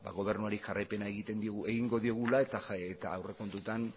gobernuari jarraipenari egingo diogula eta aurrekontuetan